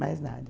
Mais nada.